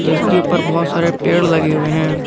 जिसके ऊपर बहुत सारे पेड़ लगे हुए हैं।